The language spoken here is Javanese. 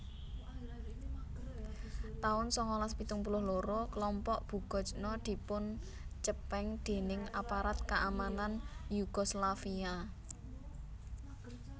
taun sangalas pitung puluh loro Klompok Bugojno dipuncepeng déning aparat kaamanan Yugoslavia